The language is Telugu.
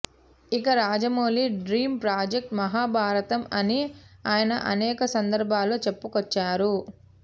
ఇక రాజమౌళి డ్రీం ప్రాజెక్ట్ మహాభారతం అని ఆయన అనేక సందర్భాలలో చెప్పుకొచ్చారు